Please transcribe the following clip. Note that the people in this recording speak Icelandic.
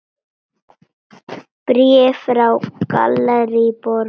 Bréf frá Gallerí Borg.